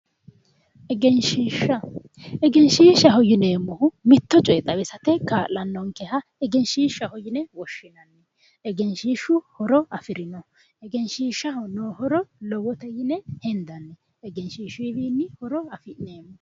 Egenshiishsha egenshiishshaho yineemmohu mitto coye xawisate kaa'lannonkeha egenshiishshaho yine woshshinanni egenshiishshu horo afirinoho egenshiishshaho noo horo lowote yine hendanni egenshiishshuyiwiinni horo afi'neemmo